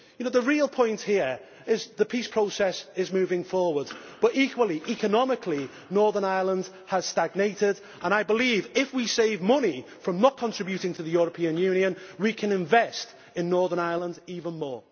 The real point here is that the peace process is moving forward but equally, economically, Northern Ireland has stagnated and I believe that if we save money from not contributing to the European Union we can invest in Northern Ireland even more.